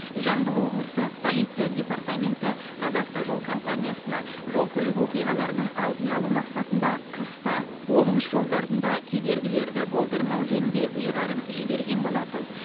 жамбыл облысы полиция департаменті қазавтожол компаниясына жол көлік оқиғаларының алдын алу мақсатында қыста облыс жолдарында кедергілерді болдырмау жөнінде ұйғарым жіберген болатын